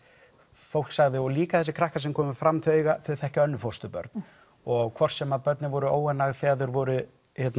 fólk sagði og líka þessi krakkar sem komu fram þau þau þekkja önnur fósturbörn og hvort sem börnin voru óánægð þegar þau voru